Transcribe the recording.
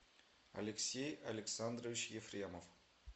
алексей александрович ефремов